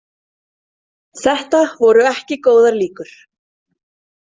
Þetta voru ekki góðar líkur.